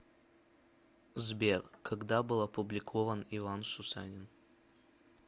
сбер когда был опубликован иван сусанин